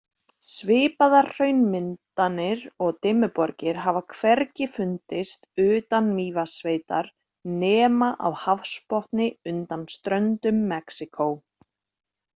Svipaðar hraunmyndanir og Dimmuborgir hafa hvergi fundist utan Mývatnssveitar nema á hafsbotni undan ströndum Mexíkó.